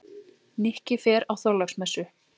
Nikki fer á Þorláksmessu.